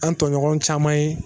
An tɔɲɔgɔn caman ye